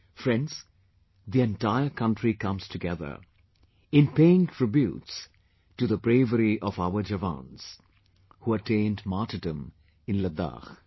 Friends, the entire country comes together in paying tributes to the bravery of our jawans who attained martyrdom in Ladakh